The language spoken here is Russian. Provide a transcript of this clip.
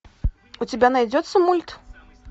у тебя найдется мульт